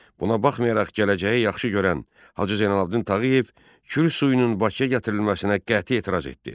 Buna baxmayaraq gələcəyi yaxşı görən Hacı Zeynalabdin Tağıyev Kür suyunun Bakıya gətirilməsinə qəti etiraz etdi.